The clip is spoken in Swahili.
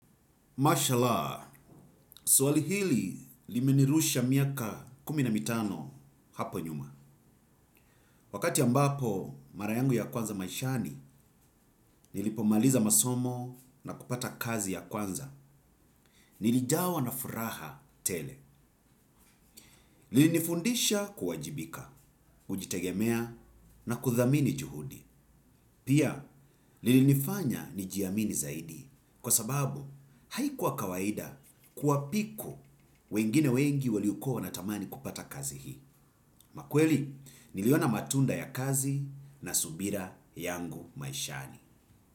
Mashallah, suali hili limenirusha miaka kuminamitano hapo nyuma. Wakati ambapo mara yangu ya kwanza maishani nilipomaliza masomo na kupata kazi ya kwanza. Nilijawa na furaha tele. Lilinifundisha kuwajibika, kujitegemea na kuthamini juhudi. Pia, lilinifanya ni jiamini zaidi. Kwa sababu, haikuwa kawaida kuwa piku wengine wengi waliukoha na tamani kupata kazi hii. Ama kweli niliona matunda ya kazi na subira yangu maishani.